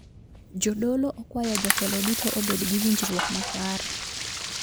Jodolo okwayo jotelo duto obed gi winjruok makare